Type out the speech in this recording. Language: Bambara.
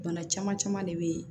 Bana caman caman de bɛ yen